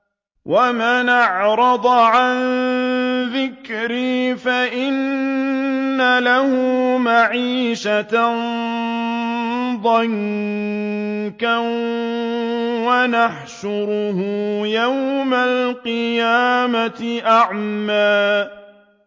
وَمَنْ أَعْرَضَ عَن ذِكْرِي فَإِنَّ لَهُ مَعِيشَةً ضَنكًا وَنَحْشُرُهُ يَوْمَ الْقِيَامَةِ أَعْمَىٰ